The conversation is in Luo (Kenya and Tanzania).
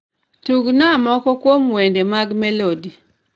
Tugnaa moko kuom wende mag melody